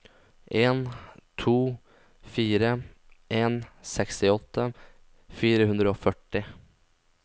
en to fire en sekstiåtte fire hundre og førti